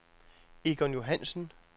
Egon Johannsen